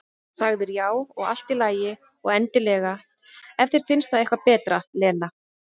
Sagðir já, og allt í lagi, og endilega, ef þér finnst það eitthvað betra, Lena.